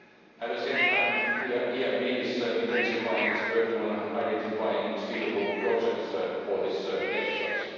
At the same time the EIB is intensifying its work on identifying suitable projects for this exercise.